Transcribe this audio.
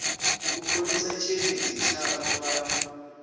u khonisa tshiendisi tshavho vha